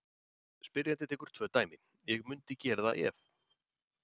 Spyrjandi tekur tvö dæmi: Ég mundi gera það ef.